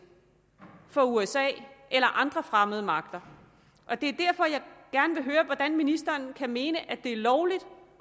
for usa eller andre fremmede magter det er derfor at jeg gerne vil høre hvordan ministeren kan mene at det er lovligt